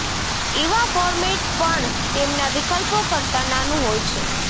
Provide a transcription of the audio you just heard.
ઇવા format પણ તેમના વિકલ્પો કરતાં નાનું હોય છે